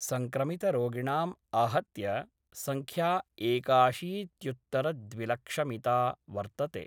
संक्रमित रोगिणां आहत्य संख्या एकाशीत्युत्तरद्विलक्षमिता वर्तते।